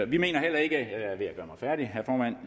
vi mener jeg